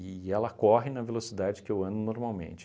e ela corre na velocidade que eu ando normalmente.